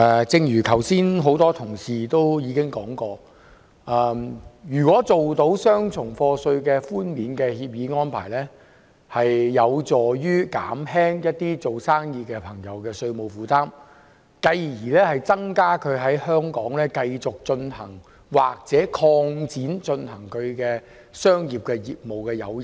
正如剛才多位同事提到，簽訂雙重課稅寬免協定有助減輕營商人士的稅務負擔，增加他們在香港繼續營商或擴展業務的誘因。